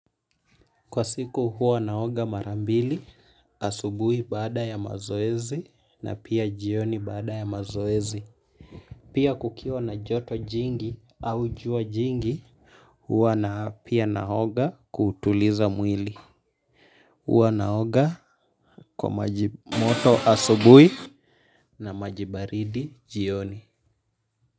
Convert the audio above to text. Kwa siku huwa naoga mara mbili asubuhi baada ya mazoezi na pia jioni baada ya mazoezi. Pia kukiwa na joto jingi au jua jingi huwa na pia naoga kutuliza mwili huwa naoga kwa maji moto asubuhi na maji baridi jioni.